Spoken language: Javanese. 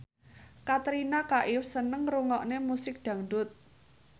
Katrina Kaif seneng ngrungokne musik dangdut